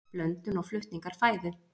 Blöndun og flutningur fæðu.